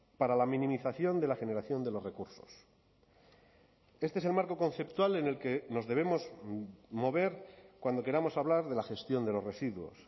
para la minimización de la generación de los recursos este es el marco conceptual en el que nos debemos mover cuando queramos hablar de la gestión de los residuos